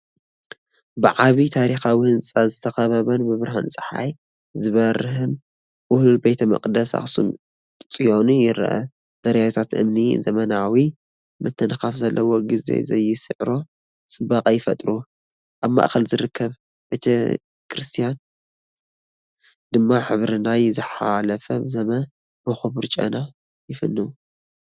ብዓቢይ ታሪኻዊ ህንጻ ዝተኸበበን ብብርሃን ጸሓይ ዝበርህን ውህሉል ቤተ መቕደስ ኣክሱም ፅዮን ይርአ። ደረጃታትቲ እምኒ ዘመናዊ ምትንኻፍ ዘለዎ፣ ግዜ ዘይስዕሮ ጽባቐ ይፈጥሩ። ኣብ ማእከል ዝርከብ ቤተክርስትያን ድማ ክብሪ ናይ ዝሓለፈ ዘመን ብኽቡር ጨና ይፍንው።